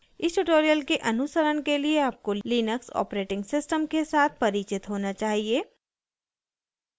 इस tutorial के अनुसरण के लिए आपको लिनक्स operating system के साथ परिचित होना चाहिए